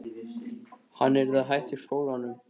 Hann yrði að hætta í skólanum!